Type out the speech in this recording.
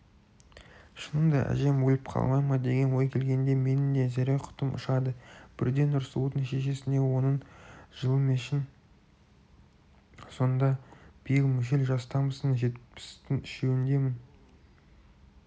шынында да әжем өліп қалмай ма деген ой келгенде менің де зәре-құтым ұшады бірде нұрсұлудың шешесіне оның жылыммешін сонда биыл мүшел жастамын жетпістің үшеуіндемін